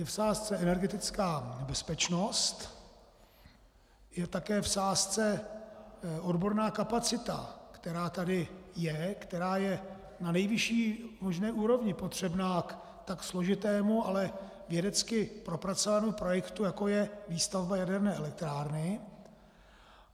Je v sázce energetická bezpečnost, je také v sázce odborná kapacita, která tady je, která je na nejvyšší možné úrovni, potřebná k tak složitému, ale vědecky propracovanému projektu, jako je výstavba jaderné elektrárny.